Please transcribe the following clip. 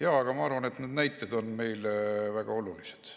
Jaa, aga ma arvan, et need näited on meile väga olulised.